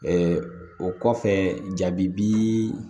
o kɔfɛ jabi